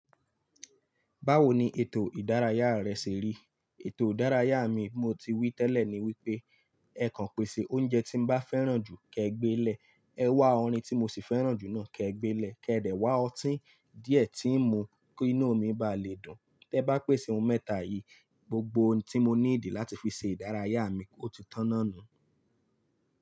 Báwo ni ètò ìdárayá rẹ ṣe rí? Ètò ìdárayá mi, mo ti wí tẹ́lẹ̀ ni wípé ẹ kan pèsè oúnjẹ tí mbá fẹ́ràn jù, ke gbé lè. Ẹ wá orin tí mo sì fẹ́ràn jù náà ke gbé lè, kí ẹ dẹ̀ wá ọtí díẹ̀ tí n mú kí inú mi bá lè dùn. Tẹ bá pèsè ohun mẹ́ta yìí, gbogbo ohun tí mo níidi láti fi ṣe ìdárayá mi, ó ti tán náà nu.